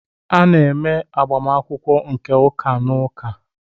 A na-eme agbamakwụkwọ nke ụka na ụka.